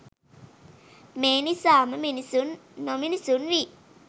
මේ නිසාම මිනිසුන් නොමිනිසුන් වී